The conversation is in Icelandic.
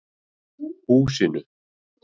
Húsinu